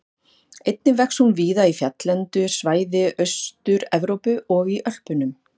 Einnig vex hún víða í fjalllendu svæði Austur-Evrópu og í Ölpunum.